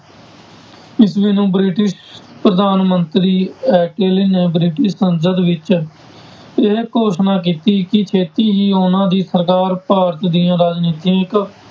ਈਸਵੀ ਨੂੰ ਬ੍ਰਿਟਿਸ਼ ਪ੍ਰਧਾਨ ਮੰਤਰੀ ਅਟਲ ਨੇ ਬ੍ਰਿਟਿਸ਼ ਸੰਸਦ ਵਿੱਚ ਇਹ ਘੋਸ਼ਣਾ ਕੀਤੀ ਕਿ ਛੇਤੀ ਹੀ ਉਹਨਾਂ ਦੀ ਸਰਕਾਰ ਭਾਰਤ ਦੀਆਂ ਰਾਜਨੀਤਿਕ